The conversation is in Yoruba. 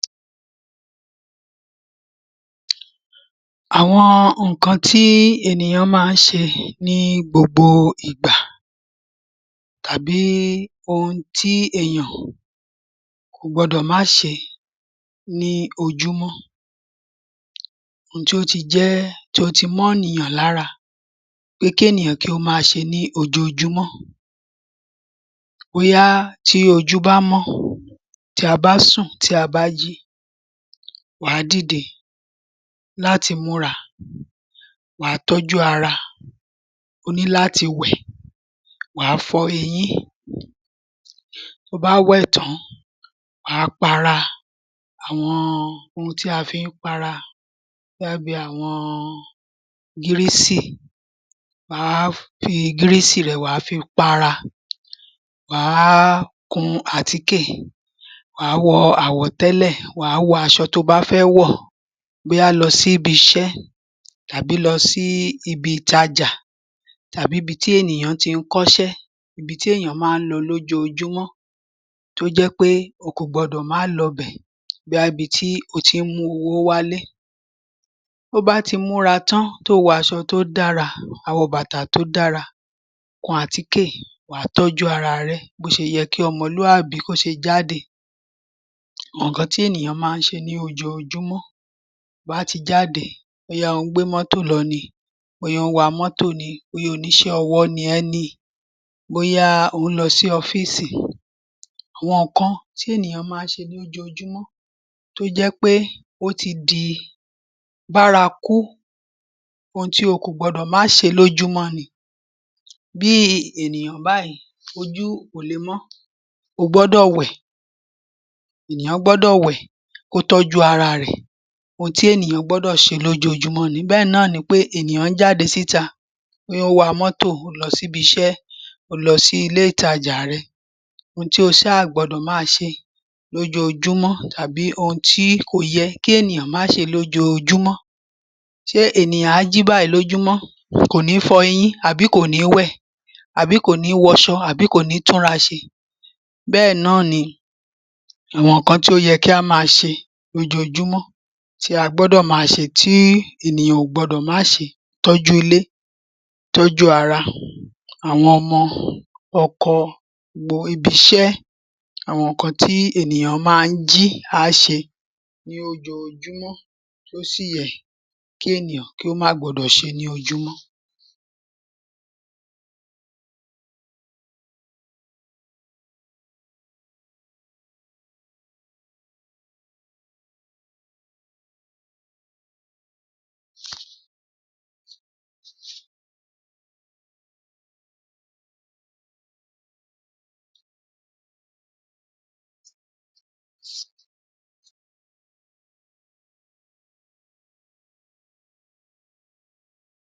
Àwọn nǹkan tí ènìyàn máa ń ṣe ní gbogbo ìgbà tàbí ohun tí èèyàn kò gbọdọ̀ má ṣe ní ojúmọ́. Ohun tí ó ti jẹ́ tí ó ti mọ́nìyàn lára pé kí ènìyàn ó maa ṣe ní ojoójúmọ́ bóyá tí ojú bá mọ́, tí a bá sùn tí a bá jí, wà á dìde láti múra, wà á tọ́jú ara o ní láti wẹ̀, wà á fọ eyín to bá wẹ̀ tán, wà á para. Àwọn ohun tí a fi ń para, ó dàbí àwọn gírísì. Wà á fi gírísì rẹ wà á fi para, wà á kun àtíkè wà á wọ àwọ̀tẹ́lẹ̀, wà á wọ aṣọ to bá fẹ́ wọ̀ bóyá lọ síbiṣẹ́ tàbí lọ sí ibi ìtajà tàbí ibi tí ènìyàn ti í kọ́ṣẹ́ ibi tí èèyàn máa ń lọ lójóojúmọ́ tó jẹ́ pé o kò gbọdọ̀ má lọbẹ̀. Bóyá ibi tí o ti ń mú owó wálé. Bo bá ti múra tán, tó o wọ aṣọ tó dára wà á wọ bàtà tó dára, kun àtíkè wà á tọ́jú araàrẹ bó ṣe yẹ kí ọmọlúàbí kó ṣe jáde. Àwọn nǹkan tí ènìyàn máa ń ṣe ní ojoojúmọ́, wà á ti jáde bóyá ò ń gbé mọ́tò lọ ni, bóyá ò ń wa mọ́tò ni, bóyá oníṣẹ́ ọwọ́ ni ẹ́ ni, bóyá ò ń lọ sí ọ́fíìsì. Àwọn nǹkan tí ènìyàn máa ń ṣe ní ojoojúmọ́ tó jẹ́ pé ó ti di bárakú. Ohun tí o kò gbọdọ̀ má ṣe lójúmọ́ ni. Bí ènìyàn báyìí, ojú ò le mọ́ ó gbọ́dọ̀ wẹ̀, ènìyàn gbọ́dọ̀ wẹ̀ kó tọ́jú ara rẹ̀. Ohun tí ènìyàn gbọ́dò ṣe lójoojúmọ́ ni. Bẹ́ẹ̀ náà nipé ènìyàn ń jáde síta pé ó wa mọ́tò, ó lọ síbiṣẹ́, ò ń lọ sílé ìtajà rẹ, ohun tí o ṣaà gbọdọ̀ má ṣe lójoojúmọ́ tàbí ohun ti kò yẹ kí ènìyàn má ṣe lójoojúmọ́. Ṣe ènìyàn á jí báyìí lójúmọ́, kò ní fọyín àbí kò ní wẹ̀ àbí kò ní wọṣọ àbí kò ní túnra ṣe? Bẹ́ẹ̀ náà ni àwọn nǹkan tí ó yẹ kí á máa ṣe lójoojúmọ́, tí a gbọdọ̀ máa ṣe, tí ènìyàn ò gbọdọ̀ má ṣe. Tọ́jụ́ ilé, tọ́jú ara, àwọn ọmọ, ọkọ, um ibiṣẹ́ àwọn nǹkan tí ènìyàn maá ń jí, á ṣe ní ojoojúmọ, tó sì yẹ kí ènìyàn kí ó má gbọdọ̀ ṣe ní ojúmọ́.